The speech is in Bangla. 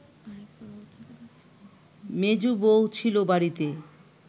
মেজ বৌ ছিল বাড়িতে